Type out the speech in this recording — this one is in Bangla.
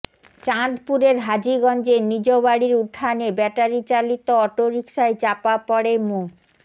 চাঁদপুরের হাজীগঞ্জে নিজ বাড়ির উঠানে ব্যাটারি চালিত অটোরিকশায় চাপা পড়ে মো